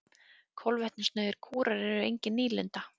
Kolvetnasnauðir kúrar eru engin nýlunda.